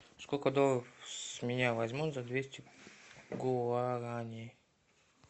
сколько долларов с меня возьмут за двести гуарани